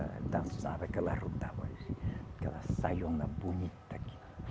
Dançava que ela rodava assim, aquela saiona bonita que.